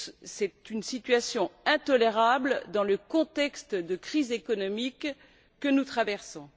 C'est une situation intolérable dans le contexte de crise économique que nous traversons.